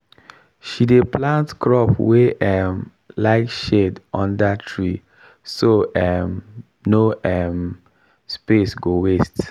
she dey plant crop wey um like shade under tree so um no um space go waste.